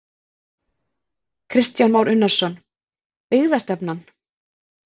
Kristján Már Unnarsson: Byggðastefnan?